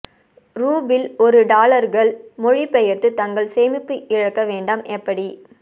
rouble ஒரு டாலர்கள் மொழிபெயர்த்து தங்கள் சேமிப்பு இழக்க வேண்டாம் எப்படி